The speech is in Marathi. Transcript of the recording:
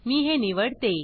मी हे निवडते